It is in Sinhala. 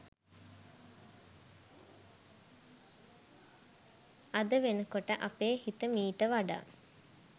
අද වෙනකොට අපේ හිත මීට වඩා